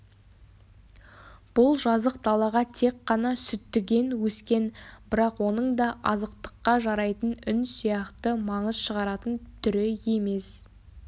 бұл жазық далаға тек қана сүттіген өскен бірақ оның да азықтыққа жарайтын үн сияқты маңыз шығаратын түрі емес